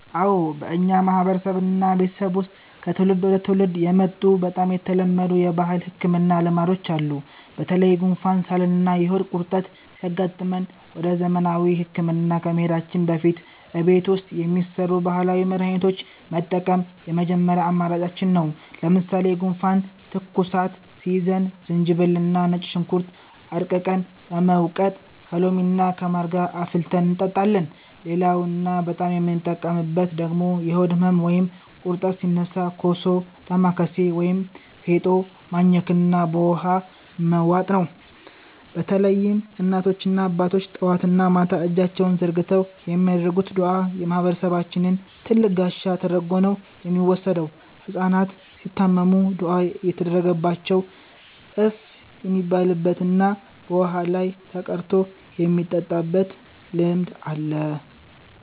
አዎ፣ በእኛ ማህበረሰብና ቤተሰብ ውስጥ ከትውልድ ወደ ትውልድ የመጡ በጣም የተለመዱ የባህል ህክምና ልማዶች አሉ። በተለይ ጉንፋን፣ ሳልና የሆድ ቁርጠት ሲያጋጥመን ወደ ዘመናዊ ህክምና ከመሄዳችን በፊት እቤት ውስጥ የሚሰሩ ባህላዊ መድሃኒቶችን መጠቀም የመጀመሪያ አማራጫችን ነው። ለምሳሌ ጉንፋንና ትኩሳት ሲይዘን ዝንጅብልና ነጭ ሽንኩርት አድቅቀን በመውቀጥ ከሎሚና ከማር ጋር አፍልተን እንጠጣለን። ሌላውና በጣም የምንጠቀምበት ደግሞ የሆድ ህመም ወይም ቁርጠት ሲነሳ ኮሶ፣ ዳማከሴ ወይም ፌጦ ማኘክና በውሃ መዋጥ ነው። በተለይም እናቶችና አባቶች ጠዋትና ማታ እጃቸውን ዘርግተው የሚያደርጉት ዱዓ የማህበረሰባችን ትልቅ ጋሻ ተደርጎ ነው የሚወሰደው። ህጻናት ሲታመሙም ዱዓ እየተደረገባቸው እፍ የሚባልበትና በውሃ ላይ ተቀርቶ የሚጠጣበት ልማድ አለ።